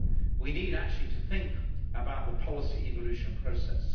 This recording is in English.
We need actually to think about the policy evolution process.